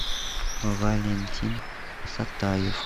валентин сатаев